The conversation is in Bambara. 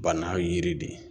Bana yiri de ye.